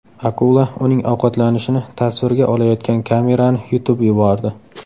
Akula uning ovqatlanishini tasvirga olayotgan kamerani yutib yubordi .